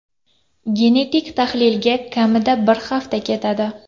Genetik tahlilga kamida bir hafta ketadi.